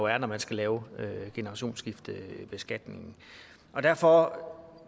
er når man skal lave generationsskiftebeskatningen derfor